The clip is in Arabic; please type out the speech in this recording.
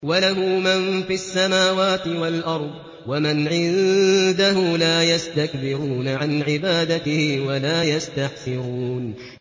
وَلَهُ مَن فِي السَّمَاوَاتِ وَالْأَرْضِ ۚ وَمَنْ عِندَهُ لَا يَسْتَكْبِرُونَ عَنْ عِبَادَتِهِ وَلَا يَسْتَحْسِرُونَ